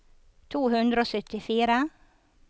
to hundre og syttifire